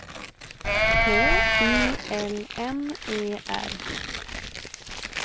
H I L M E R